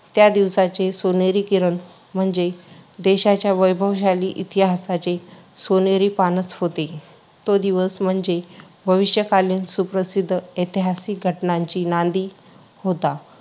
त्या दिवसाचे सोनेरी किरण म्हणजे देशाच्या वैभवशाली इतिहासाचे सोनेरी पानच होते. तो दिवस म्हणजे भविष्यकालीन सुप्रसिद्ध ऐतिहासिक घटनांची नांदी होता.